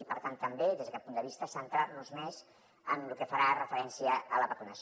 i per tant també des d’aquest punt de vista centrar nos més en lo que farà referència a la vacunació